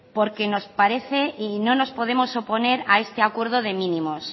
porque nos parece y no nos podemos oponer a este acuerdo de mínimos